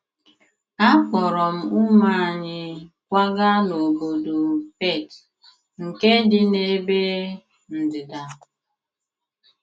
Akpọọrọ m ụmụ anyị kwaga n’obodo Perth nke dị n’ebe ndịda.